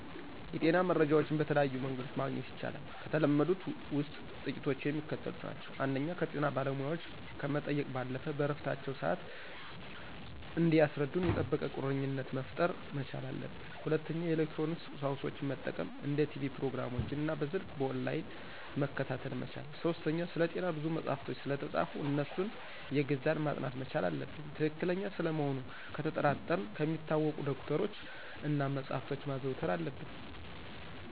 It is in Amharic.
የጤና መረጃዎችን በተለያዩ መንገዶችመግኘት ይቻላል። ከተለመዱት ውስጥ ጥቂቶቹ የሚከተሉት ናቸው። ፩) ከጤና ባለሙያዎች ከመጠየቅ ባለፈ በእረፍታቸው ስዓት እንዲያስረዱን የጠበቀ ቁርኝትነት መፍጠር መቻል አለብን። ፪) የኤሌክትሮኒክስ ቁሳቁሶችን መጠቀም እንደ ቲቭ ፕሮግራሞችን እና በሰልክ በኦንላይን መከታተል መቻል። ፫) ስለጤና ብዙ መጸሐፎች ስለተፃፉ አነሱን አየገዙ ማጥናት መቻል አለብን። ትክክለኛ ስለመሆኑ ነተጠራጠረን ከሚታወቁ ዶክተሮች እና መጸሐፍቶችን ማዘውተር አለብን።